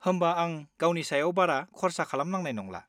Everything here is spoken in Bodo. होमबा आं गावनि सायाव बारा खर्सा खालामनांनाय नंला।